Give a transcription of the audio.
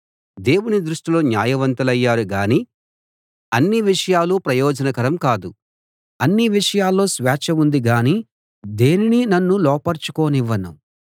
దేవుని దృష్టిలో న్యాయవంతులయ్యారు గాని అన్ని విషయాలూ ప్రయోజనకరం కాదు అన్ని విషయాల్లో స్వేచ్ఛ ఉంది గాని దేనినీ నన్ను లోపరచుకోనివ్వను